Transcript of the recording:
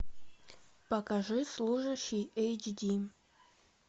покажи служащий эйч ди